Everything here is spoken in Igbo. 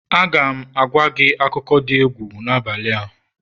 Aga m agwa gị akụkọ dị egwu n'abalị a